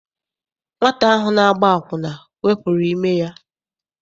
Nwata ahụ na-agba akwụna wepụrụ ime ya.